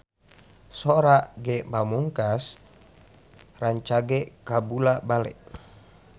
Sora Ge Pamungkas rancage kabula-bale